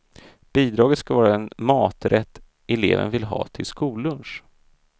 Bidraget ska vara en maträtt eleven vill ha till skollunch.